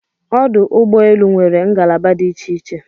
Ọdụ ụgbọ elu nwere ngalaba dị iche iche